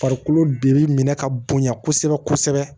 Farikolo bi minɛ ka bonya kosɛbɛ kosɛbɛ